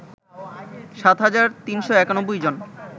সাতহাজার৩৯১জন